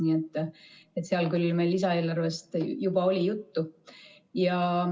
Nii et seal küll meil lisaeelarvest juba oli juttu.